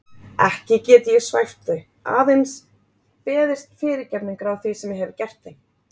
Ekki get ég svæft þau, aðeins beðist fyrirgefningar á því sem ég hef gert þeim.